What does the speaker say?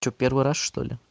что первый раз что-ли